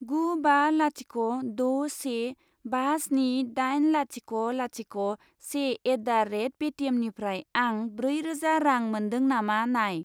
गु बा लाथिख' द' से बा स्नि दाइन लाथिख' लाथिख' से एट दा रेट पेटिएमनिफ्राय आं ब्रै रोजा रां मोन्दों नामा नाय।